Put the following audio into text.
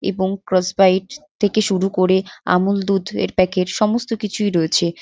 এবং cross bite থেকে শুরু করে আমুল দুধের প্যাকেট সমস্ত কিছুই রয়েছে।